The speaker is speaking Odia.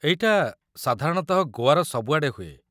ଏଇଟା, ସାଧାରଣତଃ, ଗୋଆର ସବୁଆଡ଼େ ହୁଏ ।